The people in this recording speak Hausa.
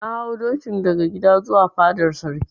Na hau dokin daga gida zuwa fadar Sarki.